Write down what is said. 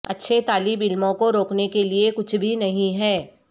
اچھے طالب علموں کو روکنے کے لئے کچھ بھی نہیں ہے